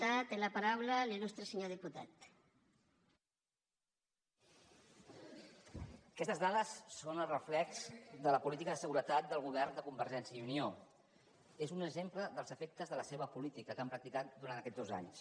aquestes dades són el reflex de la política de seguretat del govern de convergència i unió és un exemple dels efectes de la seva política que han practicat durant aquests dos anys